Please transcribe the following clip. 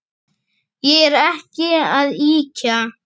Ég er ekki að ýkja.